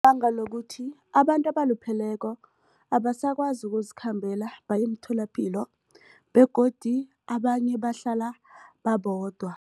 Banga lokuthi abantu abalupheleko abasakwazi ukuzikhambela baye emtholapilo begodu abanye bahlala babodwa.